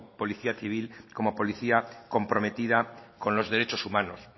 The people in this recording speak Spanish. policía civil como policía comprometida con los derechos humanos